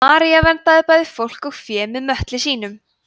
maría verndaði bæði fólk og fé með möttli sínum